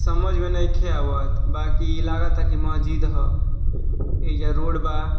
समज में नइखे आवत बाकी इ लागता की महजिद ह एजा रोड बा।